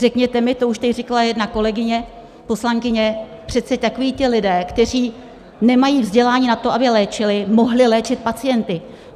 Řekněte mi, to už tady říkala jedna kolegyně poslankyně, přeci takoví ti lidé, kteří nemají vzdělání na to, aby léčili, mohli léčit pacienty.